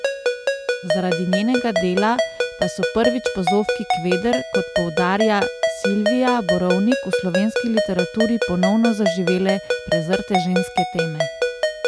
Zaradi njenega dela pa so prvič po Zofki Kveder, kot poudarja Silvija Borovnik, v slovenski literaturi ponovno zaživele prezrte ženske teme.